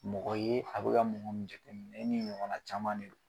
Mɔgɔ yea mɔgɔ ne ni n ɲɔgɔnna caman de don.